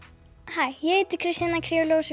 hæ ég heiti Kristjana